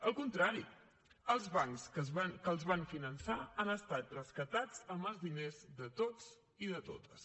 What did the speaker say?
al contrari els bancs que els van finançar han estat rescatats amb els diners de tots i de totes